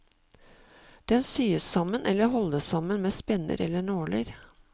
Den syes sammen eller holdes sammen med spenner eller nåler.